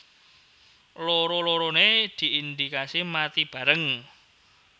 Loro loronè diindikasi mati bareng